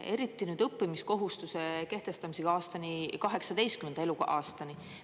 Eriti nüüd õppimiskohustuste kehtestamisega 18. eluaastani.